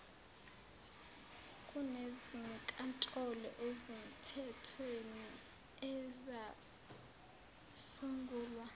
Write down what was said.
kunezinkantolo ezimthethweni ezasungulwa